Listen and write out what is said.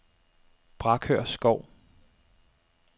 Brakør Skov